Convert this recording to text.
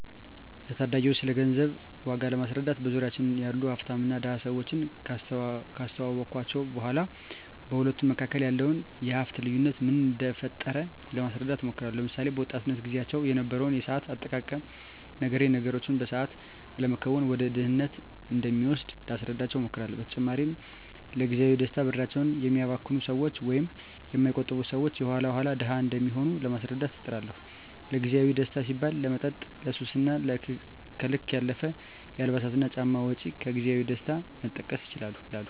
ለታዳጊወች ስለገንዘብ ዋጋ ለማስረዳት በዙሪያችን ያሉ ሀፍታምና ድሀ ሰወችን ካስታወስኳቸው በኋ በሁለቱ መካከል ያለውን የሀፍት ልዮነት ምን እደፈጠረው ለማስረዳት እሞክራለሁ። ለምሳሌ፦ በወጣትነት ግዚያቸው የነበረውን የሰአት አጠቃቀም ነግሬ ነገሮችን በሰአት አለመከወን ወደ ድህነት እንደሚወስድ ላስረዳቸው እሞክራለው። በተጨማሪም ለግዚያዊ ደስታ ብራቸውን የሚያባክኑ ሰወች ወይም የማይቆጥቡ ሰወች የኋላ ኋላ ድሀ እንደሚሆኑ ለማስረዳት እጥራለሁ። ለግዜአዊ ደስታ ሲባል ለመጠጥ፣ ለሱስ እና ከልክ ያለፈ የአልባሳትና ጫማ ወጭ ከግዜያዊ ደስታ መጠቀስ ይችላሉ።